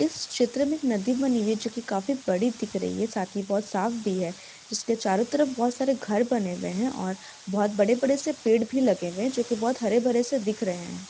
इस चित्र में एक नदी बनी हुई है जो की काफी बड़ी दिख रही है साथ ही बहुत साफ भी हैं जिसके चारों तरफ बहोत सारे घर बने हुए हैं और बहोत बड़े - बड़े से पेड़ भी लगे हुए हैं जो की बहोत हरे- भरे से दिख रहे हैं।